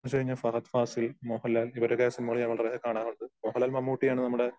ഫഹദ്ഫാസിൽ, മോഹൻലാൽ ഇവരുടെയൊക്കെ സിനിമകൾ ഞാൻ വളരെ കാണാറുണ്ട്. മോഹൻലാൽ മമ്മുട്ടി ആണ് നമ്മടെ